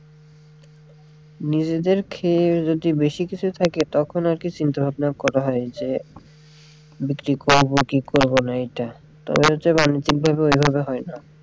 নিজেদের খেতে যদি বেশি কিছু থস্কে তখন আরকি চিন্তা ভাবনা করা হয় যে বিক্রি করবো কি করবোনা তবে হচ্ছে বাণিজ্যিক ভাবে ওইভাবে হয়না।